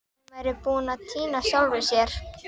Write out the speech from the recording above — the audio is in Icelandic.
Hún væri búin að týna sjálfri sér!